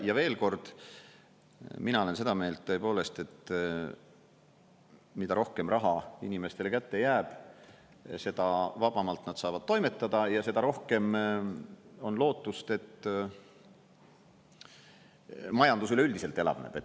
Ja veel kord – mina olen seda meelt tõepoolest, et mida rohkem raha inimestele kätte jääb, seda vabamalt nad saavad toimetada ja seda rohkem on lootust, et majandus üleüldiselt elavneb.